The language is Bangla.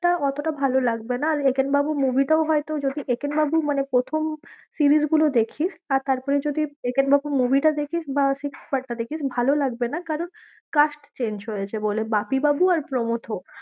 টা অতটা ভালো লাগবে না, আর একেনবাবু movie টাও হয়তো যদি একেনবাবু মানে প্রথম series গুলো দেখিস আর তারপরে যদি একেনবাবু , movie টা দেখিস বা sixth part টা দেখিস ভালো লাগবে না কারণ cast change হয়েছে বলে, বাপিবাবু আর প্রমথ।